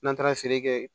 N'an taara feere kɛ